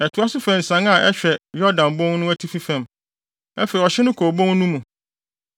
Ɛtoa so fa nsian a ɛhwɛ Yordan Bon no atifi fam. Afei ɔhye no kɔ obon no mu,